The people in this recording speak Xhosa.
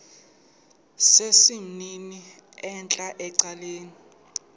sesimnini entla ecaleni